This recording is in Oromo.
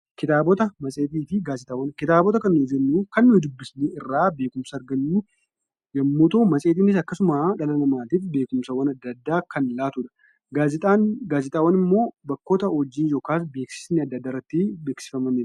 Kitaabota kan nuyi jennu kan nuyi dubbisuun irraa beekumsa argannu yommuu ta'u, matseetiinis akkasuma dhala namaatiif beekumsawwan adda addaa kan laatudha. Gaazexaawwan immoo bakkoota hojiin yookaas beeksisni adda addaa irratti beeksifamanidha.